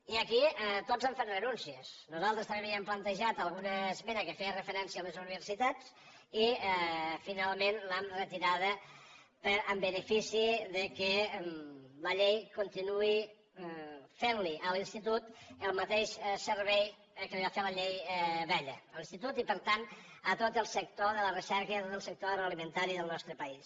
i aquí tots han fet renúncies nosaltres també havíem plantejat alguna esmena que feia referència a les universitats i finalment l’hem retirada en benefici que la llei continuï fent a l’institut el mateix servei que li va fer la llei vella a l’institut i per tant a tot el sector de la recerca i a tot el sector agroalimentari del nostre país